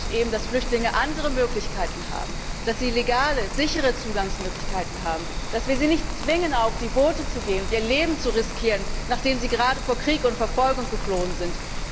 Das bedeutet eben, dass Flüchtlinge andere Möglichkeiten haben, dass sie legale, sichere Zugangsmöglichkeiten haben, dass wir sie nicht zwingen, auf die Boote zu gehen und ihr Leben zu riskieren, nachdem sie gerade vor Krieg und Verfolgung geflohen sind.